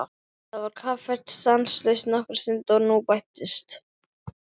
Það var kaffært stanslaust nokkra stund og nú bættist